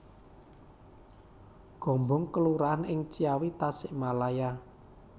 Gombong kelurahan ing Ciawi Tasikmalaya